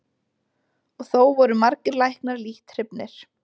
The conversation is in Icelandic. Og þó voru margir læknar lítt hrifnir.